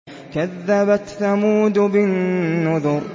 كَذَّبَتْ ثَمُودُ بِالنُّذُرِ